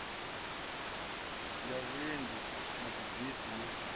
ya vhuendi ya dzibisi yo